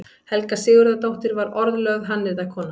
Helga Sigurðardóttir varð orðlögð hannyrðakona.